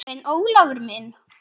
En Ólafur minn.